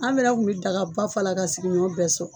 An fɛna kun bɛ dagaba fa la ka sigiɲɔn bɛɛ sɔn